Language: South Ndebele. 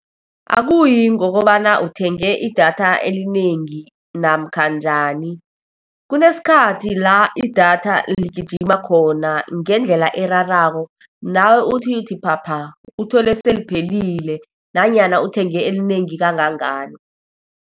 Akuyi ngokobana uthenge i-data elinengi namkha njani, kunesikhathi la i-data ligijima khona ngendlela erarako, nawe uthi, uthi phapha. Uthole seliphelile, nanyana uthenge elinengi kangangani.